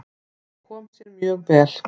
Það kom sér mjög vel.